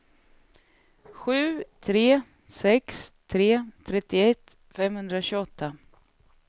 sju tre sex tre trettioett femhundratjugoåtta